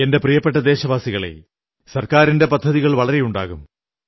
എന്റെ പ്രിയപ്പെട്ട ദേശവാസികളേ സർക്കാരിന്റെ പദ്ധതികൾ വളരെയുണ്ടാകും